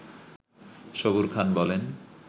সবুর খান বলেন